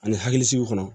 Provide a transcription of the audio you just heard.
Ani hakilisigiw kɔnɔ